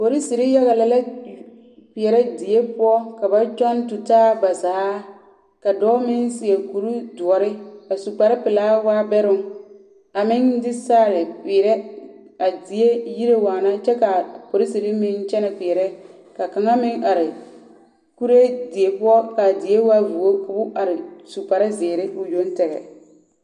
Polisiri yaga lԑ la kpeԑrԑ die poͻ ka ba tͻŋ tutaa ba zaa. Ka dͻͻ meŋ seԑ kuri dõͻre a su kpare pelaa a waa bԑroŋ, a meŋ de saare a peerԑ a die yire waana kyԑ ka a polisiri meŋ kyԑnԑ kpeԑrԑ. ka kaŋa meŋ are kuree die poͻ, ka a die waa vuo ka o are su kpare zeere o yoŋ tԑgԑ.